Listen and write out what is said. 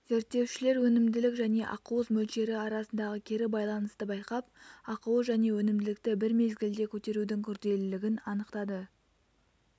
зерттеушілер өнімділік және ақуыз мөлшері арасындағы кері байланысты байқап ақуыз және өнімділікті бір мезгілде көтерудің күрделілігін анықтады